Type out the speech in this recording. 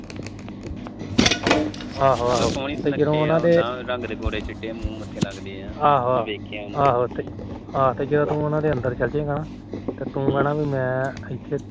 ਆਹੋ ਤੇ ਤੂੰ ਉਹਨਾ ਦੇ ਅੰਦਰ ਚਲ ਜੇ ਗਾ ਨਾ ਤੁੂੰ ਕਹਿਣਾ ਮੈ ਇਥੋ